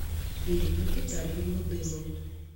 ирину витальевну дымову